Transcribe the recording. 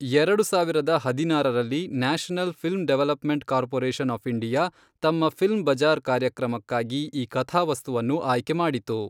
ಎರಡು ಸಾವಿರದ ಹದಿನಾರರಲ್ಲಿ, national film development corporation of India, ತಮ್ಮ ಫಿಲ್ಮ್ ಬಜಾರ್ ಕಾರ್ಯಕ್ರಮಕ್ಕಾಗಿ ಈ ಕಥಾವಸ್ತುವನ್ನು ಆಯ್ಕೆ ಮಾಡಿತು.